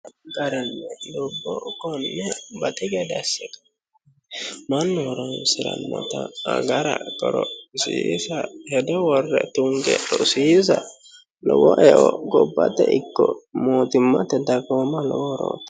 dubbo konne baxi gade assite mannu horonsirannota agara qorophisiisa hedo worre tunge rosiisa lowo e"o gobbate ikko mootimmate dagoomaho lowo horooti